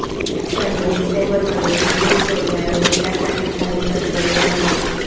त्यांनी डिसेंबरमध्ये बीजिंग सोडले आणि भेटासाठी काहीही दर्शविले नाही